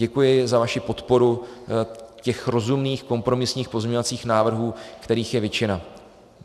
Děkuji za vaši podporu těch rozumných kompromisních pozměňovacích návrhů, kterých je většina.